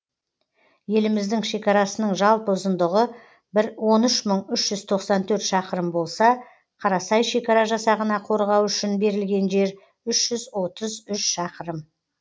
еліміздің шекарасының жалпы ұзындығы бір он үш мың үш жүз тоқсан төрт шақырым болса қарасай шекара жасағына қорғау үшін берілген жер үш жүз отыз үш шақырым